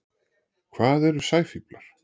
Hvað eru sæfíflar?